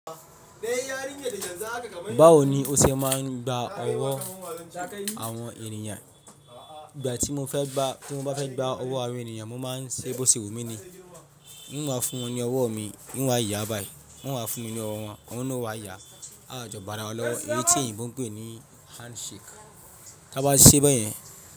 Báwo ni o ṣe máa ń gba ọwọ́ àwọn èèyàn? Ìgbà tí mo fẹ́ gbá, tí wọ́n bá fẹ́ gba ọwọ́ àwọn èèyàn, mo máa ń ṣe bósè wù mí ni. N wa máa fún wọn ní ọwọ́ mi, n wa wáa yà báyìí, wọ́n á máa fún mi ní ọwọ́ wọn, aeọn ni ó wáa yà, a wa jọ bá ara wa lọ́wọ́. Èyí tì oyibó ń pè ní handshake. Tí a bá ṣe be yẹn.